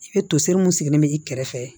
I bɛ toseri mun sigilen bɛ i kɛrɛfɛ